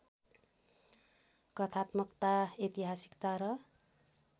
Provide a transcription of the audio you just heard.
कथात्मकता ऐतिहासिकता र